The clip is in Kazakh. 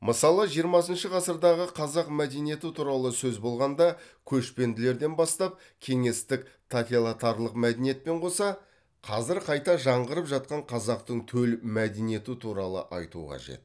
мысалы жиырмасыншы ғасырдағы қазақ мәдениеті туралы сөз болғанда көшпенділерден бастап кеңестік мәдениетпен қоса қазір қайта жаңғырып жатқан қазақтың төл мәдениеті туралы айту қажет